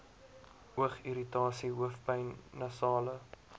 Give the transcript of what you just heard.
oogirritasie hoofpyn nasale